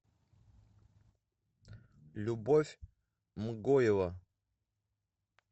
любовь мгоева